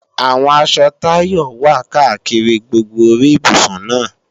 Àwọn aṣọ Táyọ wà káàkiri gbogbo orí ibùsùn náà